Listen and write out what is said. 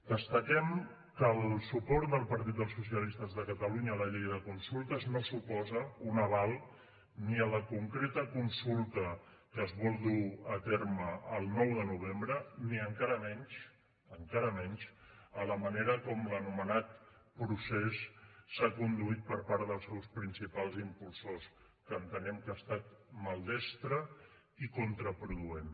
destaquem que el suport del partit dels socialistes de catalunya a la llei de consultes no suposa un aval ni a la concreta consulta que es vol dur a terme el nou de novembre ni encara menys encara menys a la manera com l’anomenat procés s’ha conduït per part dels seus principals impulsors que entenem que ha estat maldestra i contraproduent